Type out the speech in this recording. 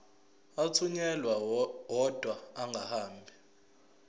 athunyelwa odwa angahambi